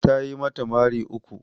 Tayi mata mari uku